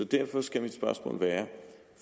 derfor skal mit spørgsmål være